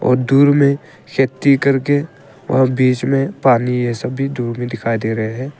और दूर में खेती करके और बीच में पानी यह सभी दूर में दिखाई दे रहे हैं।